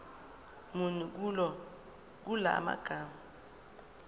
muni kula magama